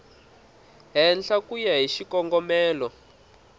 henhla ku ya hi xikongomelo